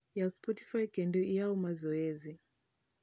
yaw spotify kendo iyaw mazoezi